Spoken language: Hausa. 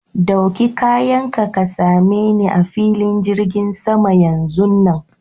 Ɗauki kayan ka, ka same ni a filin jirgin sama yanzun nan.